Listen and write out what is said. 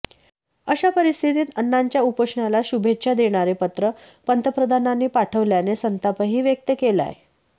अशा परीस्थितीत अण्णांच्या उपोषणाला शुभेच्छा देणारे पत्र पंतप्रधानांनी पाठवल्याने संतापही व्यक्तं केलांय